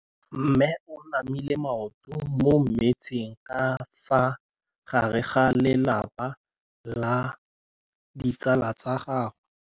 Mme o namile maoto mo mmetseng ka fa gare ga lelapa le ditsala tsa gagwe.